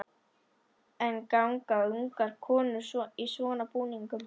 En ganga ungar konur í svona búningum?